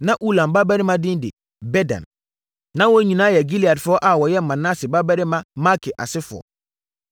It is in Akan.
Na Ulam babarima din de: Bedan. Na wɔn nyinaa yɛ Gileadfoɔ a wɔyɛ Manase babarima Makir asefoɔ.